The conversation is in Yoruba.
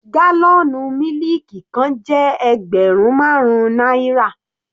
Gálọ̀nù mílìkì kan jẹ́ ẹgbẹrun marun náírà.